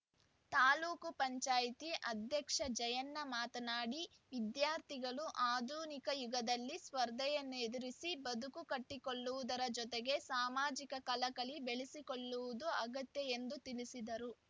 ತಾಲೂಕ್ ಪಂಚಾಯತಿ ಅಧ್ಯಕ್ಷ ಜಯಣ್ಣ ಮಾತನಾಡಿ ವಿದ್ಯಾರ್ಥಿಗಳು ಆಧುನಿಕ ಯುಗದಲ್ಲಿ ಸ್ಪರ್ಧೆಯನ್ನು ಎದುರಿಸಿ ಬದುಕು ಕಟ್ಟಿಕೊಳ್ಳುವುದರ ಜೋತೆಗೆ ಸಾಮಾಜಿಕ ಕಳಕಳಿ ಬೆಳೆಸಿಕೊಳ್ಳುವುದು ಅಗತ್ಯ ಎಂದು ತಿಳಿಸಿದರು